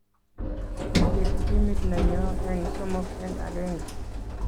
Kisiir timit nenyo eng somok eng agenge